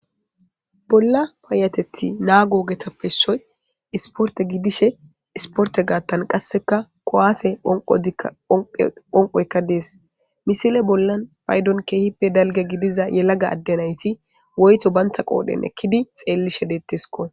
Bolla payatethi naago ogetappe issoy isporte gidishe isporte gaatan kuwaase phonqidikka phonqqidi phoqqoykka dees. Misile bollan paydon keehippe dalga gidida yelaga adde naati woytho bantta qoodhen ekidi xeelishe deeteskko.